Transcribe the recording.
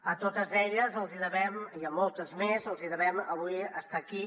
a totes elles i a moltes més els hi devem avui estar aquí